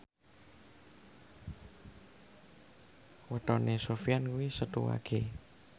wetone Sofyan kuwi Setu Wage